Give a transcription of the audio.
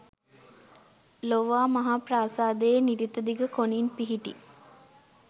ලෝවාමහාප්‍රාසාදයේ නිරිතදිග කොණින් පිහිටි